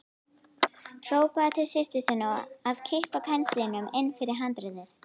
Hrópaði til systur sinnar að kippa penslinum inn fyrir handriðið.